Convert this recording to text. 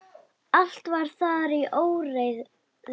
Allt var þar í óreiðu.